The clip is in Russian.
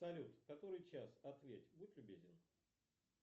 салют который час ответь будь любезен